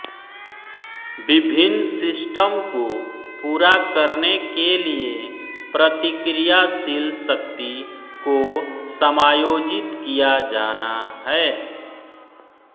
विभिन्न सिस्टम को पूरा करने के लिए प्रतिक्रियाशील शक्ति को समायोजित किया जाना है